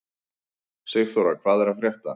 Sigþóra, hvað er að frétta?